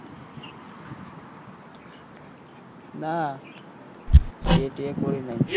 নাহ বিয়ে টিয়ে করি নাই।